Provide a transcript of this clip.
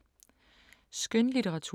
Skønlitteratur